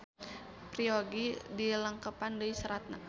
Peryogi dilengkepan deui saratna